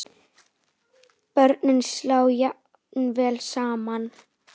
Börnin slá jafnvel saman.